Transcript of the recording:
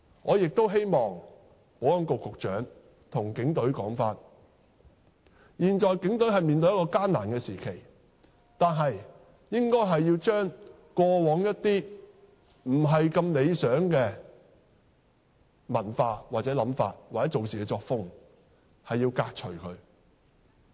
我亦希望保安局局長向警隊說，現在警隊面對艱難時期，但也應把過往不理想的文化、想法或處事作風革除。